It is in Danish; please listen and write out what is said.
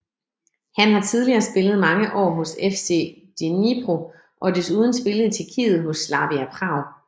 Han har tidligere spillet mange år hos FC Dnipro og har desuden spillet i Tjekkiet hos Slavia Prag